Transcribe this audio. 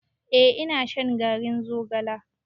Eh ina shan garin zogalen.